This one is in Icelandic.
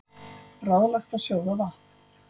Ráðlagt að sjóða vatn